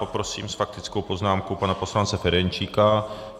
Poprosím s faktickou poznámkou pana poslance Ferjenčíka.